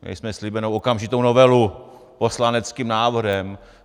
Měli jsme slíbenu okamžitou novelu poslaneckým návrhem.